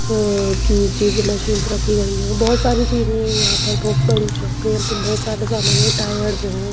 अ की चीजें मशीन रखी गई हों बहुत सारी चीजें हैं यहाँ पर बहुत बड़ी शॉप है यहाँ पे बहुत सारा सामान है टायर्स हैं।